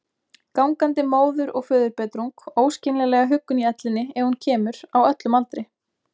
Gangandi móður- og föðurbetrung, óskiljanlega huggun í ellinni ef hún kemur, á öllum aldri.